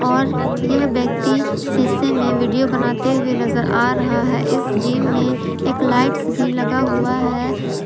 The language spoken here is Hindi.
और यह व्यक्ति शीशे में वीडियो बनाते हुए नजर आ रहा है इस जिम में एक लाइट्स भी लगा हुआ है।